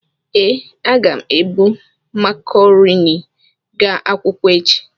Ee, aga m ebu makarọnị gaa akwụkwọ echi.